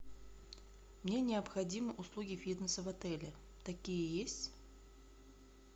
мне необходимы услуги фитнеса в отеле такие есть